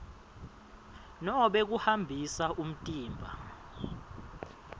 nobe kuhambisa umtimba